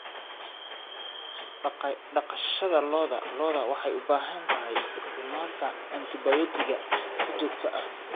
Dhaqashada lo'da lo'da waxay u baahan tahay isticmaalka antibiyootiga si joogto ah.